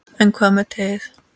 En hvað með teið?